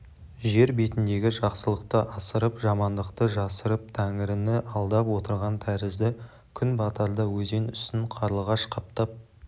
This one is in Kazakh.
жер бетіндегі жақсылықты асырып жамандықты жасырып тәңіріні алдап отырған тәрізді күн батарда өзен үстін қарлығаш қаптап